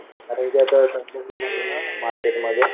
आता इथे तर ना मार्केटमध्ये